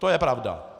To je pravda.